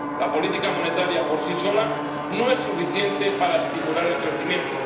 La política monetaria por sí sola no es suficiente para estimular el crecimiento.